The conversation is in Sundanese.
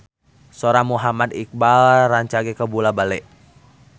Sora Muhammad Iqbal rancage kabula-bale